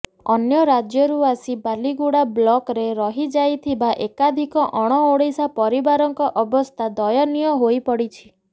ଅନ୍ୟ ରାଜ୍ୟରୁ ଆସି ବାଲିଗୁଡା ବ୍ଲକରେ ରହିଯାଇଥିବା ଏକାଧିକ ଅଣଓଡ଼ିଆ ପରିବାରଙ୍କ ଅବସ୍ଥା ଦୟନୀୟ ହୋଇପଡ଼ିଛି